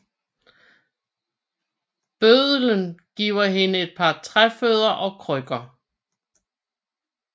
Bøddelen giver hende et par træfødder og krykker